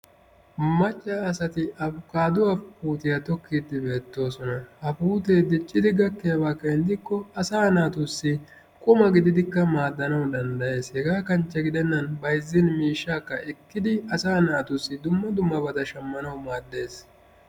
Macca asati afkkaaduwa puutiya tokkiiddi beettoosona. Ha puutee diccidi gakkiyaba keeni gidikko asaa naatussi quma gididikka maaddanawu danddayes. Hegaa kanchche gidennan bayzzin miishshaakka ekkidi asaa naatussi dumma dummabata shammanawu maaddes.